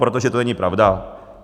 Protože to není pravda.